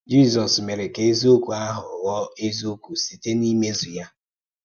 Jízọ́s mére kà èzíòkwú áhụ̀ ghọọ èzíòkwú sītè n’ímézù yá.